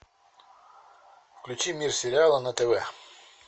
включи мир сериала на тв